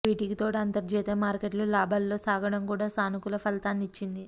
వీటికి తోడు అంతర్జాతీయ మార్కెట్లు లాభాల్లో సాగడం కూడా సానుకూల ఫలితాన్నిచ్చింది